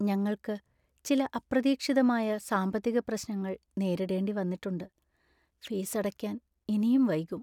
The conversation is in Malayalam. ഞങ്ങൾക്ക് ചില അപ്രതീക്ഷിതമായ സാമ്പത്തിക പ്രശ്‌നങ്ങൾ നേരിടേണ്ടി വന്നിട്ടുണ്ട്, ഫീസ് അടയ്ക്കാന്‍ ഇനിയും വൈകും.